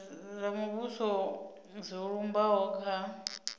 zwa muvhuso zwo lumbaho kha